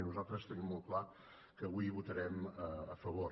nosaltres tenim molt clar que avui hi votarem a favor